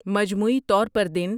مجموعی طور پر دن